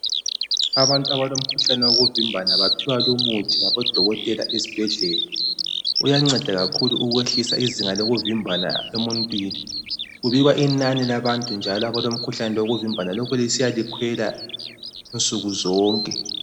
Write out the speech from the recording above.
Abantu abalomkhuhlane yokuvimbana baphiwa lumuthi ngamadokotela esibhendlela. Uyanceda kakhulu ukwehlisa izinga lokuvimbana emuntwini. Kubikwa inani labantu abalomkhuhlane wovimbani lokhu lisiya lisiyalikhwela nsuku sonke.